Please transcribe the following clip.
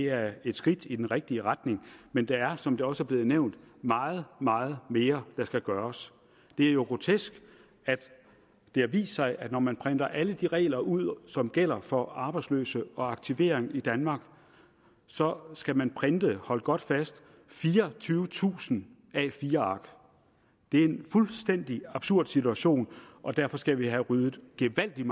er et skridt i den rigtige retning men der er som det også er blevet nævnt meget meget mere der skal gøres det er jo grotesk at det har vist sig at når man printer alle de regler ud som gælder for arbejdsløse og aktivering i danmark så skal man printe hold godt fast fireogtyvetusind a4 ark det er en fuldstændig absurd situation og derfor skal vi have ryddet gevaldigt